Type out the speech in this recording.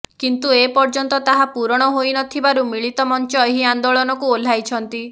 କିନ୍ତୁ ଏପର୍ଯ୍ୟନ୍ତ ତାହା ପୂରଣ ହୋଇନଥିବାରୁ ମିଳିତ ମଞ୍ଚ ଏହି ଆନ୍ଦୋଳନକୁ ଓହ୍ଲାଇଛନ୍ତି